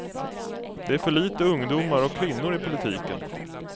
Det är för lite ungdomar och kvinnor i politiken.